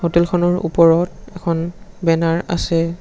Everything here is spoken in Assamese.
হোটেলখনৰ ওপৰত এখন বেনাৰ আছে।